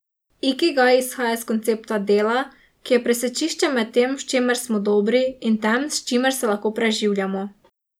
Ikigaj izhaja iz koncepta dela, ki je presečišče med tem, v čemer smo dobri, in tem, s čimer se lahko preživljamo.